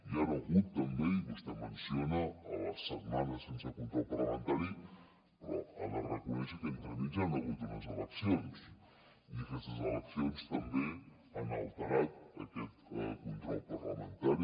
hi ha hagut també i vostè ho menciona les setmanes sense control parlamentari però ha de reconèixer que entremig hi ha hagut unes eleccions i aquestes eleccions també han alterat aquest control parlamentari